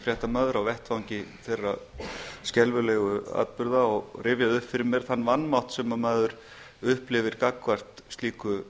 fréttamaður á vettvangi þeirra skelfilegu atburða og rifjaði upp fyrir mér þann vanmátt sem maður upplifir gagnvart slíku